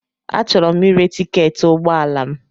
Achọrọ m ire tiketi ụgbọ ala m.